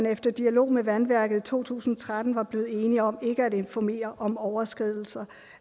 efter dialog med vandværket i to tusind og tretten var blevet enige om ikke at informere om overskridelser